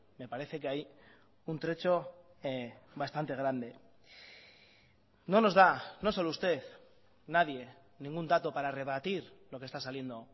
me parece que hay un trecho bastante grande no nos da no solo usted nadie ningún dato para rebatir lo que está saliendo